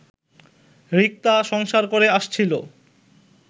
রিক্তা সংসার করে আসছিলো